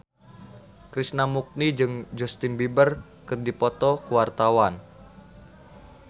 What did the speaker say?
Krishna Mukti jeung Justin Beiber keur dipoto ku wartawan